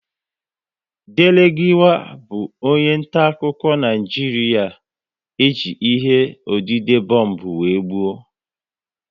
Dele Giwa bụ onye nta akụkọ Naijiria e ji ihe odide bombu wéré gbuo